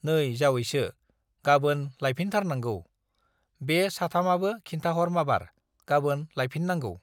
नै जावैसो, गाबोन लायफिनथारनांगौ, बे साथामाबो खिन्थाहर माबार, गाबोन लायफिननांगौ।